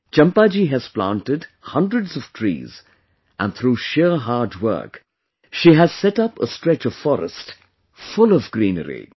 Champa ji has planted hundreds of trees and through sheer hard work she has set up a stretch of forest full of greenery